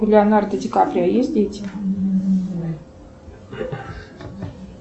у леонардо ди каприо есть дети